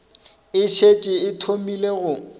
e šetše e thomile go